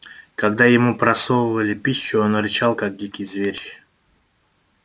когда ему просовывали пищу он рычал как дикий зверь